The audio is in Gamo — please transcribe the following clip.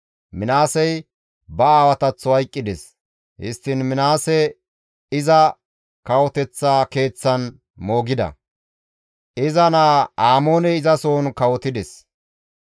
Minaasey ba aawataththo hayqqides; histtiin Minaase iza kawoteththa keeththan moogida; iza naa Amooney izasohon kawotides.